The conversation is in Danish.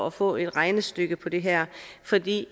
at få et regnestykke på det her fordi